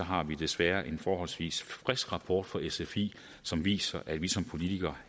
har vi desværre en forholdsvis frisk rapport fra sfi som viser at vi som politikere